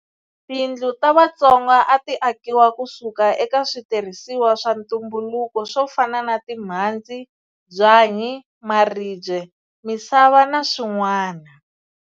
Tindlu ta Vatsonga a ti akiwa ku suka eka switirhisiwa swa ntumbuluko swo fana na timhandzi, byanyi, maribye, misava na swin'wana.